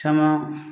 Caman